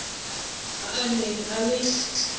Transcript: a a neng a le